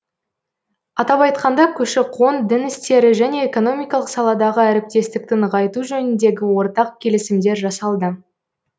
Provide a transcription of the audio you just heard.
атап айтқанда көші қон дін істері және экономикалық саладағы әріптестікті нығайту жөніндегі ортақ келісімдер жасалды